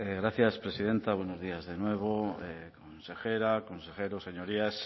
gracias presidenta buenos días de nuevo consejera consejeros señorías